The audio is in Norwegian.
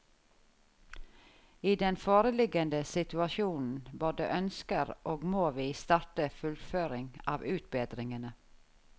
I den foreliggende situasjonen både ønsker og må vi starte fullføring av utbedringene.